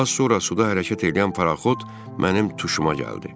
Az sonra suda hərəkət eləyən paraxot mənim tuşuma gəldi.